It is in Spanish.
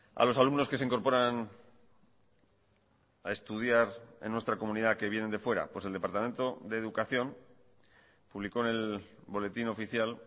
a los alumnos que se incorporan a estudiar en nuestra comunidad que vienen de fuera pues el departamento de educación publicó en el boletín oficial